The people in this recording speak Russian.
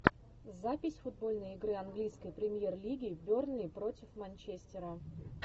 запись футбольной игры английской премьер лиги бернли против манчестера